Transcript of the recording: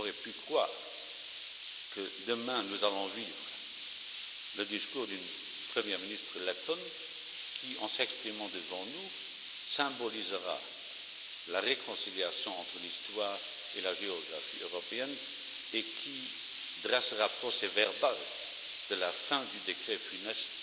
Qui aurait pu croire que demain nous entendrions le discours d'une première ministre lettone qui, en s'exprimant devant nous, symbolisera la réconciliation entre l'histoire et la géographie européenne et qui actera la fin du décret funeste